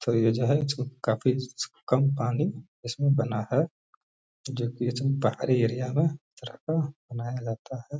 और ये जो है काफी कम पानी इसमें बना है जो की पहाड़ी एरिया में इस तरह का बनाया जाता है।